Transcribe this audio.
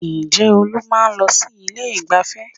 Ǹjẹ́ Olú máa ń lọ sí ilé ìgbáfẹ́?